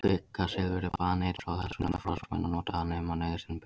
Kvikasilfur er baneitrað og þess vegna forðast menn að nota það nema nauðsyn beri til.